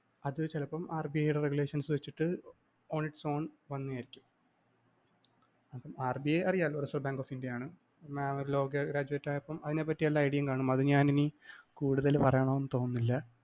അത് ചിലപ്പം RBI യുടെ regulations വെച്ചിട്ട് on its own അപ്പം RBI അറിയാലോ റിസര്‍വ് ബാങ്ക് ഓഫ് ഇന്ത്യ ആണ് mam ഒരു law graduate ആയതുകൊണ്ട് അതിനെപറ്റിഎല്ലാ idea യും കാണും. അത് ഞാന്‍ ഇനി കുടുതല്‍ പറയണമെന്ന് തോന്നുന്നില്ല.